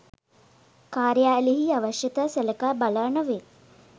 කාර්යාලීය අවශ්‍යතා සලකා බලා නොවේ